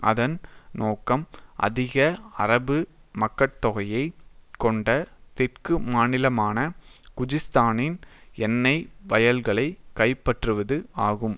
அதன் நோக்கம் அதிக அரபு மக்கட்தொகையை கொண்ட தெற்கு மாநிலமான குஜிஸ்தானின் எண்ணை வயல்களை கைப்பற்றுவது ஆகும்